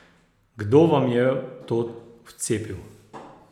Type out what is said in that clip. Kdo vam je to vcepil?